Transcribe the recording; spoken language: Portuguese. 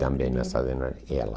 Também nascida na... Ela.